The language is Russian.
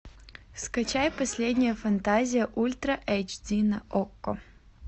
скачай последняя фантазия ультра эйч ди на окко